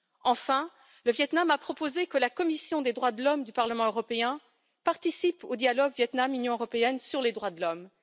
Enfin, le Viêt Nam a proposé que la commission des droits de l'homme du Parlement européen participe au dialogue Viêt Nam Union européenne sur les droits de l'homme.